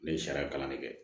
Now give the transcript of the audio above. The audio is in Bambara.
Ne ye sariya kalan de kɛ